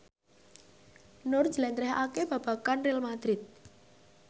Nur njlentrehake babagan Real madrid